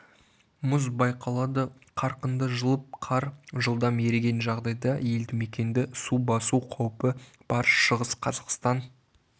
мұз байқалады қарқынды жылып қар жылдам еріген жағдайда елдімекенді су басу қаупі бар шығыс қазақстан